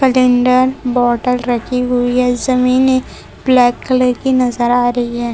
पलेंडर बोतल रखी हुई है जमीने ब्लैक कलर की नजर आ रही है।